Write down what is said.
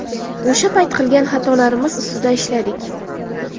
O‘sha payt qilgan xatolarimiz ustida ishladik.